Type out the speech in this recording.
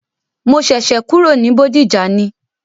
Mo ṣẹ̀ṣẹ̀ kúrò ní Bódìjà ni.